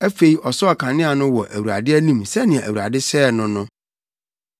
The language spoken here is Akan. Afei, ɔsɔɔ kanea no wɔ Awurade anim sɛnea Awurade hyɛɛ no no.